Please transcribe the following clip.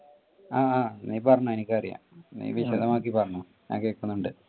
ആ നീ പറഞ്ഞോ എനിക്ക് അറിയാ നീ വിശദമാക്കി പറഞ്ഞോ ഞാൻ കേൾകുന്നുണ്ട്.